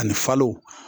Ani falo